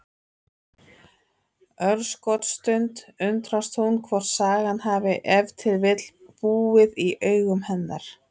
Örskotsstund undrast hún hvort sagan hafi ef til vill búið í augum hennar.